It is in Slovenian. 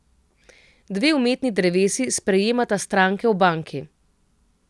Dve umetni drevesi sprejemata stranke v banki.